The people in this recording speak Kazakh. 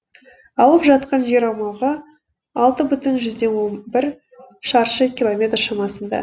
алып жатқан жер аумағы алты бүтін жүзден он бір шаршы километр шамасында